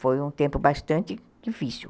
Foi um tempo bastante difícil.